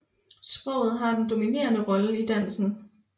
Sproget har den dominerende rolle i dansen